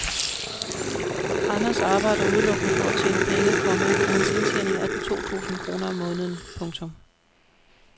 Anders arbejder udelukkende for at tjene penge, komma og hans indtjening er på to tusinde kroner om måneden. punktum